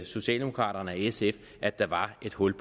socialdemokraterne og sf at der var et hul